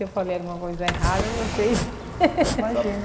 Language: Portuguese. Se eu falar alguma coisa errada, vocês... Imagina.